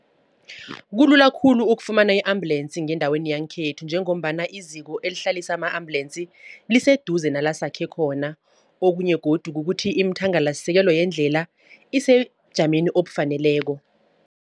Kulula khulu ukufumana i-ambulensi ngendaweni yangekhethu. Njengombana iziko elihlalisa ama-ambulensi, liseduze nala sakhe khona. Okunye godu kukuthi iimthangalasekelo yendlela isebujameni obufaneleko.